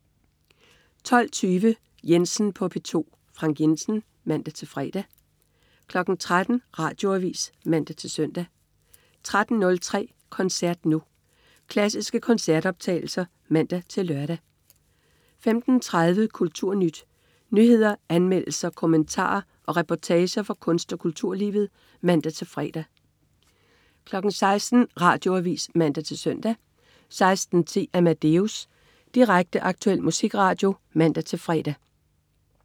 12.20 Jensen på P2. Frank Jensen (man-fre) 13.00 Radioavis (man-søn) 13.03 Koncert Nu. Klassiske koncertoptagelser (man-lør) 15.30 KulturNyt. Nyheder, anmeldelser, kommentarer og reportager fra kunst- og kulturlivet (man-fre) 16.00 Radioavis (man-søn) 16.10 Amadeus. Direkte, aktuel musikradio (man-fre)